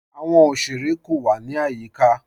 Àwọn ọ̀ṣerẹ̀ kò wà ní ayíká.